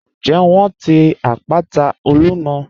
Ǹjẹ wọ́n ti àpàtà Olúmọ̀?